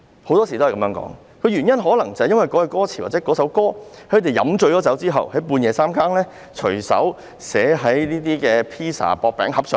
很多時候，可能某一句歌詞或某一首歌，是創作人喝醉後，半夜隨手寫在薄餅盒上的。